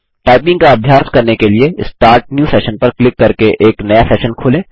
typing का अभ्यास करने के लिए स्टार्ट न्यू सेशन पर क्लिक करके एक नया सेशन खोलें